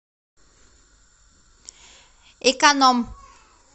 экономъ